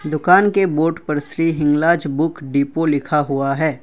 दुकान के बोर्ड पर श्री हिंगलाज बुक डिपो लिखा हुआ है।